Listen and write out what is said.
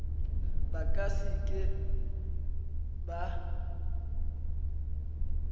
ba ka se ke ba